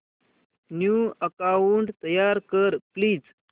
new account तयार कर please